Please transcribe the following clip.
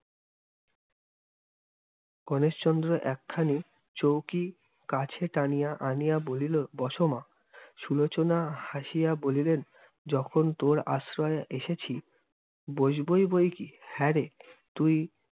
গণেশচন্দ্র একখানি চৌকি কাছে টানিয়া আনিয়া বলিল, বসো মা। সুলোচনা হাসিয়া বলিলেন, যখন তোর আশ্রয় এসেছি বসবই বৈ কি! হ্যাঁ রে, তুই